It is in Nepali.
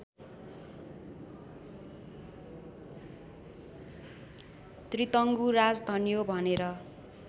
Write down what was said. त्रितङ्गु राजधन्यो भनेर